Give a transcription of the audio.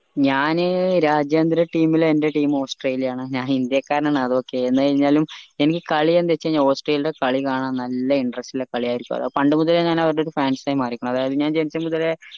ഞാൻ രാജയേന്ദ്ര team ൽ എന്റെ team ഓസ്‌ട്രേലിയാൻ ഞാൻ ഇന്ത്യക്കാരനാണ് അത് okay എന്ന് കഴിഞ്ഞാലും എനിക്ക് കളി എന്ത് വെച്ച് കഴിഞ്ഞാൽ ഓസ്ട്രേലിയടെ കളി കാണാൻ നല്ല interest ഉള്ള കളി ആയിരിക്കും അതാ ഞാൻ പണ്ട് മുതലേ അവരടെ fans ആയി മാറീക്കണു അതായത് ഞാൻ ജനിച്ചമുതലെ